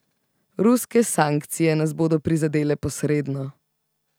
Ruske sankcije nas bodo prizadele posredno.